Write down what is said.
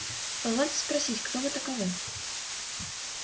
позвольте спросить кто вы таковы